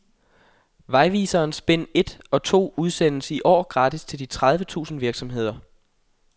Vejviserens bind et og to udsendes i år gratis til de tredive tusind virksomheder.